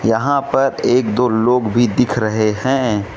यहां पर एक दो लोग भी दिख रहे हैं।